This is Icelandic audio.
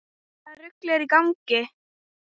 Hvaða rugl var í gangi?